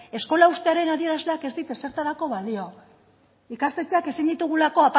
eskola uztearen adierazleak ez dit ezertarako balio ikastetxeak ezin ditugulako